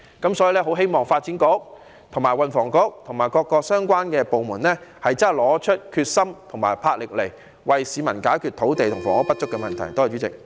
我很希望發展局和運輸及房屋局，以及各個相關部門真的拿出決心和魄力，為市民解決土地和房屋不足的問題。